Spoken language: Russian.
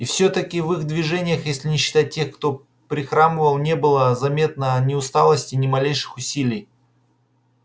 и всё-таки в их движениях если не считать тех кто прихрамывал не было заметно ни усталости ни малейших усилий